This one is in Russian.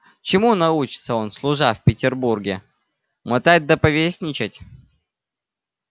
чему научится он служа в петербурге мотать да повесничать